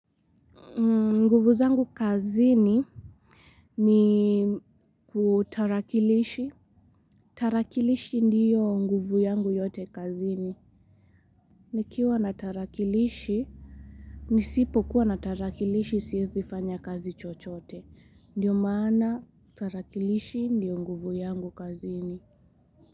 Nguvu zangu kazini ni kutarakilishi. Tarakilishi ndiyo nguvu yangu yote kazini. Nikiwa na tarakilishi, nisipokuwa na tarakilishi siezi fanya kazi chochote. Ndiyo maana tarakilishi ndiyo nguvu yangu kazini.